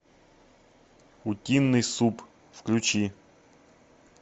утиный суп включи